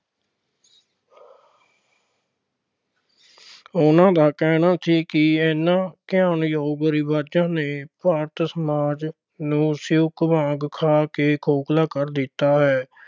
ਉਨ੍ਹਾਂ ਦਾ ਕਹਿਣਾ ਸੀ ਕੀ ਇਹਨਾਂ ਘੁਣ ਯੋਗ ਰਿਵਾਜ਼ਾਂ ਨੇ ਭਾਰਤ ਸਮਾਜ ਨੂੰ ਸਿਉਂਕ ਵਾਂਗ ਖਾ ਕੇ ਖੋਖਲਾ ਕਰ ਦਿੱਤਾ ਹੈ।